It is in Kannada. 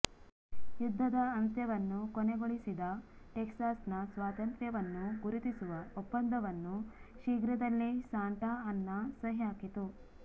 ಯುದ್ಧದ ಅಂತ್ಯವನ್ನು ಕೊನೆಗೊಳಿಸಿದ ಟೆಕ್ಸಾಸ್ನ ಸ್ವಾತಂತ್ರ್ಯವನ್ನು ಗುರುತಿಸುವ ಒಪ್ಪಂದವನ್ನು ಶೀಘ್ರದಲ್ಲೇ ಸಾಂಟಾ ಅನ್ನಾ ಸಹಿ ಹಾಕಿತು